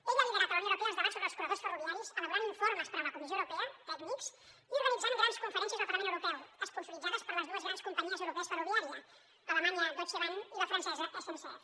ell ha liderat a la unió europea els debats sobre els corredors ferroviaris elaborant informes per a la comissió europea tècnics i organitzant grans conferències al parlament europeu esponsoritzades per les dues grans companyies europees ferroviàries l’alemanya deutsche bahn i la francesa sncf